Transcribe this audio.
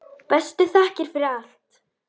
Bestu þakkir fyrir allt.